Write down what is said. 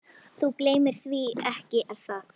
Þú gleymir því ekki, er það?